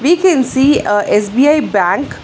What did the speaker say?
We can see a SBI bank.